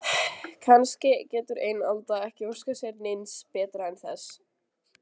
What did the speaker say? Kannski getur ein alda ekki óskað sér neins betra en þess.